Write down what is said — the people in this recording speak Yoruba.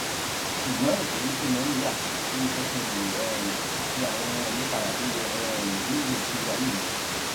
ṣùgbón ìtójú tí mo ń gbà ń jé kí n lè um ṣe àwọn ìyípadà tó yẹ um nígbèésí ayé mi